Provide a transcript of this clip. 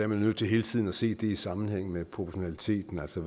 man nødt til hele tiden at se det i sammenhæng med proportionaliteten altså